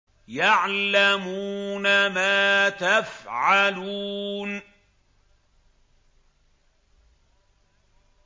يَعْلَمُونَ مَا تَفْعَلُونَ